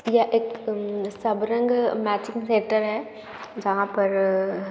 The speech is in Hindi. यह एक अअ-- सबरंग मैचिंग सेण्टर है जहा पर --